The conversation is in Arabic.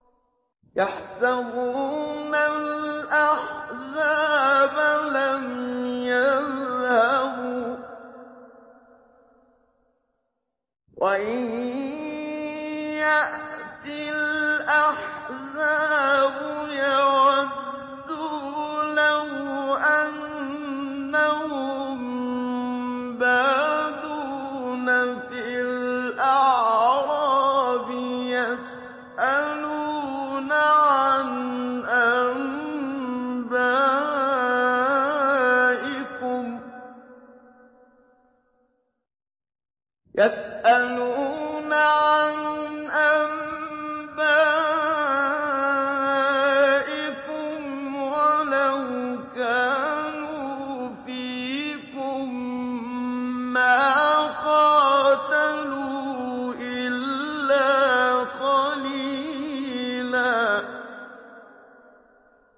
يَحْسَبُونَ الْأَحْزَابَ لَمْ يَذْهَبُوا ۖ وَإِن يَأْتِ الْأَحْزَابُ يَوَدُّوا لَوْ أَنَّهُم بَادُونَ فِي الْأَعْرَابِ يَسْأَلُونَ عَنْ أَنبَائِكُمْ ۖ وَلَوْ كَانُوا فِيكُم مَّا قَاتَلُوا إِلَّا قَلِيلًا